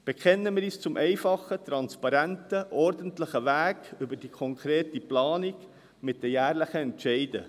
Bekennen wir uns zum einfachen, transparenten, ordentlichen Weg über die konkrete Planung mit den jährlichen Entscheiden.